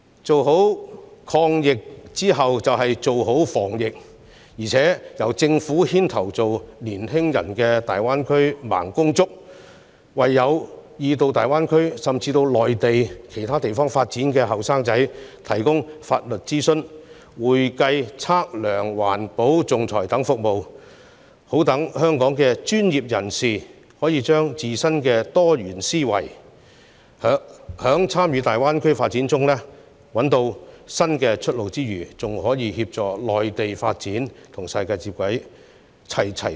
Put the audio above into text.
成功抗疫後，便要做好防疫，並由政府牽頭成為年輕人的大灣區"盲公竹"，為有意到大灣區，甚至內地其他地方發展的年輕人提供法律諮詢、會計、測量、環保和仲裁等服務，好讓香港的專業人士可以將自身的多元思維，藉參與大灣區發展找到新出路外，更可以協助內地發展，與世界接軌，齊齊雙贏。